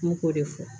N k'o de fɔ